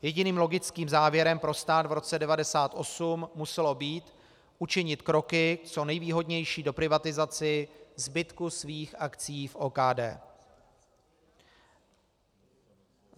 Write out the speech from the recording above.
Jediným logickým závěrem pro stát v roce 1998 muselo být učinit kroky co nejvýhodnější k doprivatizaci zbytku svých akcií v OKD.